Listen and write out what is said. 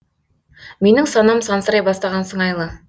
менің санам сансырай бастаған сыңайлы